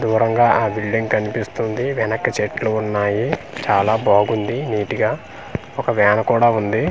దూరంగా ఆ బిల్డింగ్ కనిపిస్తుంది వెనక చెట్లు ఉన్నాయి చాలా బాగుంది నీట్ గా ఒక వ్యాన్ కూడా ఉంది.